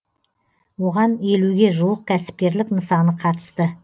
оған елуге жуық кәсіпкерлік нысаны қатысты